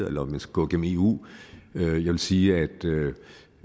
eller om vi skal gå gennem eu jeg vil sige at det